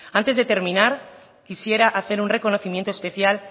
antes de terminar quisiera hacer un reconocimiento especial